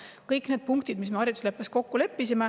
Need on kõik need punktid, milles me haridusleppes kokku leppisime.